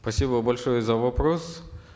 спасибо большое за вопрос